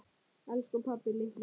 Elsku pabbi litli.